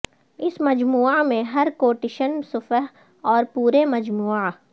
اس مجموعہ میں ہر کوٹیشن صفحہ اور پورے مجموعہ